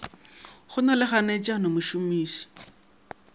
go na le kganetšano mošomiši